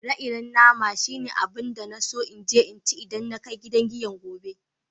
Ire-iren nama shine abun da n'na so n je n'ci idan na kai gidan giyan gobe.